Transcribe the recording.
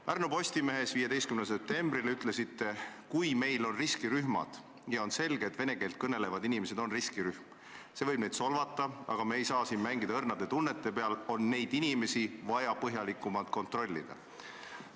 " Pärnu Postimehes 15. septembril ütlesite: "Kui meil on riskirühmad, ja on selge, et vene keelt kõnelevad inimesed on riskirühm – see võib neid solvata, aga me ei saa siin mängida õrnade tunnete peal –, on neid inimesi vaja põhjalikumalt kontrollida.